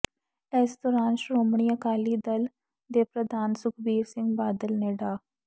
ਇਸ ਦੌਰਾਨ ਸ਼੍ਰੋਮਣੀ ਅਕਾਲੀ ਦਲ ਦੇ ਪ੍ਰਧਾਨ ਸੁਖਬੀਰ ਸਿੰਘ ਬਾਦਲ ਨੇ ਡਾ